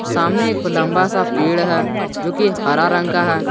सामने एक लंबा सा पेड़ है जो कि हरा रंग का है।